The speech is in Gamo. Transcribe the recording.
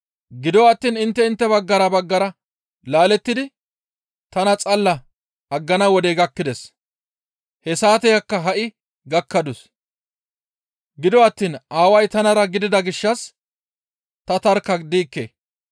gido attiin intte intte baggara baggara laalettidi tana xalla aggana wodey gakkides; he saateyakka ha7i gakkadus. Gido attiin Aaway tanara gidida gishshas ta tarkka diikke.